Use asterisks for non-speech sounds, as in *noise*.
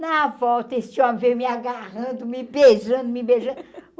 Na volta esse homem veio me agarrando, me beijando, me beijando. *laughs*